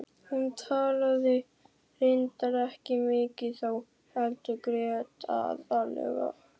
Hún talaði reyndar ekki mikið þá heldur grét aðallega.